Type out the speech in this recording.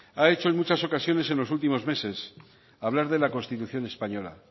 ha hecho en muchas ocasiones en los últimos meses hablar de la constitución española